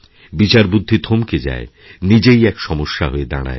বিচারবুদ্ধি থমকে যায় নিজেই এক সমস্যা হয়ে দাঁড়ায়